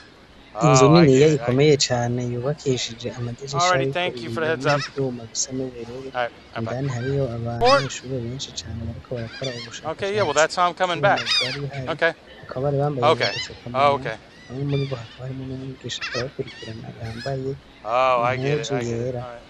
Inzu niniya ikomeye cane yubakishije amadirisha ariko ibiyo n'ivyuma bisa n'ubururu, indani hariyo abanyeshuri benshi cane bariko barakora ubushakashatsi ku vyuma vyari bihari, bakaba bari bambaye n'udufukamunwa, bamwe muri bo hakaba harimwo n'umwigisha ariko arabakurikirana akaba yambaye impuzu yera.